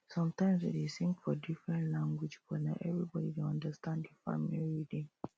sometimes we dey sing for different language but na everybody dey understand the farming rhythm